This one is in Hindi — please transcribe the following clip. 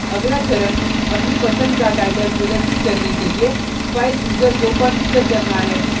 अगला चरण अपनी पसंद का टाइटल प्रदर्शित करने के लिए file chooser को configure करना है